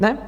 Ne?